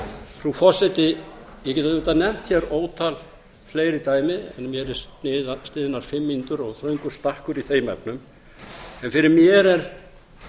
frú forseti ég get auðvitað nefnt hér ótal fleiri dæmi en mér eru sniðnar fimm mínútur og þröngur stakkur í þeim efnum en fyrir mér er